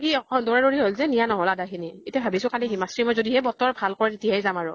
কি অকল দৌৰা দৌৰি হʼল যে, নিয়া নহʼল আদা খিনি । এতিয়া ভাবিছো কালি হিমাক্ষী মই বতৰ ভাল কৰে তেতিয়াহে যাম আৰু